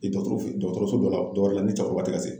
Dɔgɔtɔrɔso dɔ la dɔkun kelen ne cɛkɔrɔba tɛ ka se.